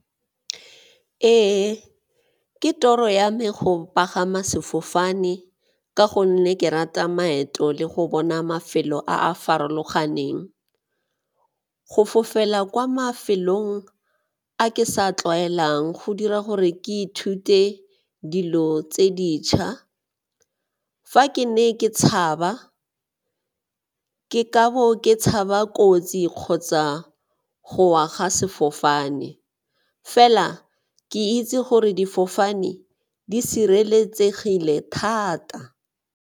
Ee, ke toro ya me go pagama sefofane ka gonne ke rata maeto le go bona mafelo a a farologaneng. Go fofela kwa mafelong a ke sa tlwaelang go dira gore ke ithute dilo tse dintšha, fa ke ne ke tshaba ke ka bo ke ga ba kotsi kgotsa go wa ga sefofane fela ke itse gore difofane di sireletsegile thata.